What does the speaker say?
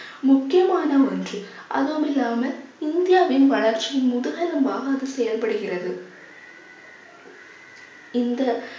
முக்கியமான ஒன்று அதுவும் இல்லாம இந்தியாவின் வளர்ச்சி முதுகெலும்பாக அது செயல்படுகிறது இந்த